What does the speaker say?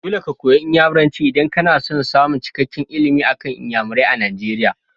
Dole ka koyi Inyamuranci idan kana son samun cikakken ilimi akan Inyamurai a Nigeria.